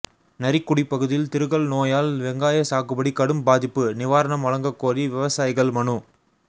நரிக்குடி பகுதியில் திருகல் நோயால் வெங்காய சாகுபடி கடும் பாதிப்பு நிவாரணம் வழங்கக்கோரி விவசாயிகள் மனு